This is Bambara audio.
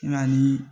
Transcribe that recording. Nka ni